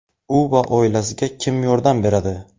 U va oilasiga kim yordam beradi?.